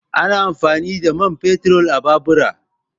Ana amfani da man fetur a babura